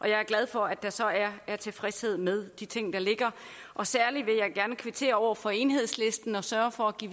jeg er glad for at der så er er tilfredshed med de ting der ligger særlig vil jeg gerne kvittere over for enhedslisten og sørge for at give